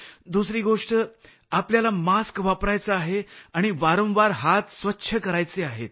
दुसरी गोष्ट आपल्याला मास्क वापरायचा आहे आणि वारंवार हात स्वच्छ करायचे आहेत